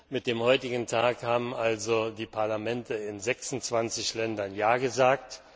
Mit dem heutigen Tag haben also die Parlamente in 26 Ländern Ja gesagt.